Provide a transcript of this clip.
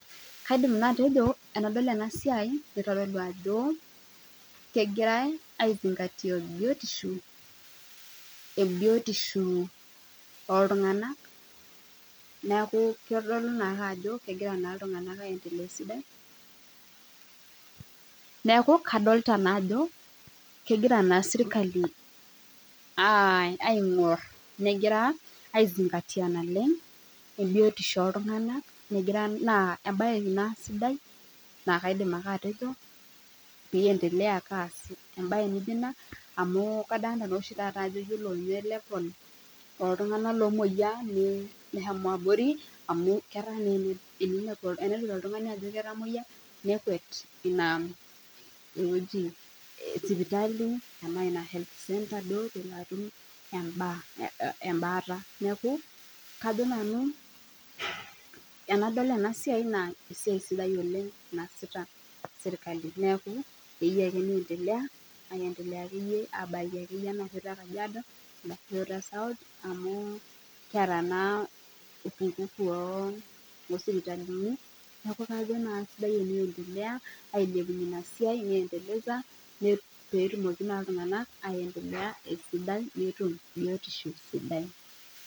Kaidim naa atejo enadol ena siai nitodolu ajo kegirai ai zingatia biotishu, biotishu ooltung'anak neeku kitodolu naake ajo kegira naa iltung'anak aiendelea esidai. Neeku kadolita naa ajo kegira naa serikali aing'orr negira ai zingatia naleng' biotisho ooltung'anak egira naa embae ina sidai nakaidim ake atejo peendelea ake aas embae naijo ina amu kadolita naa taata oshi iyiolo ninye level ooltung'anak omwoyia neshomo abori amu etaa naa enedol oltung'ani ajo ketamwoyia nekwet ine wueji e sipitali ena ina health center atum embaata. Neeku ajo nanu enadol ena siai naa e siai sidai oleng naasita serikali neeku eyieu ake neiendelea, aiendelea akeyie aabaiki akeyie ena shoto e Kajiado South amu naa, kiata naa upungufu oo sipitalini, neeku kajo naa sidai eneendelea ailepunye ina siai ne endeleza petumoki naa iltung'anak aiendelea esidai netum biotishu sidai